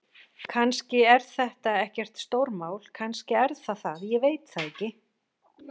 Kannski er þetta ekkert stórmál. kannski er það það, ég veit það ekki.